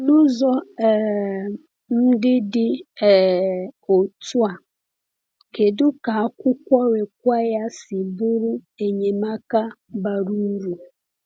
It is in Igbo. N’ụzọ um ndị dị um otú a, kedu ka akwụkwọ Require si bụrụ enyemaka bara uru?